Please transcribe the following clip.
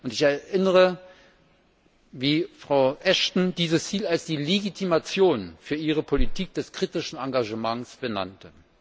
Ich erinnere mich daran, wie Frau Ashton dieses Ziel als die Legitimation für ihre Politik des kritischen Engagements benannte.